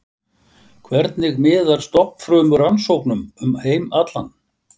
Hvernig miðar stofnfrumurannsóknum um heim allan?